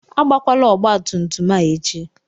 Agbakwala ọgbatumtum a echi!